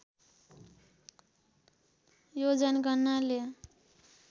यो जनगणनाले